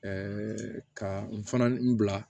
ka n fana n bila